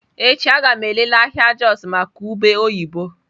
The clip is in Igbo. Echi a ga m elele ahịa Jos maka ube oyibo.